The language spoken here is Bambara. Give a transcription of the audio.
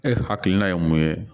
E hakilina ye mun ye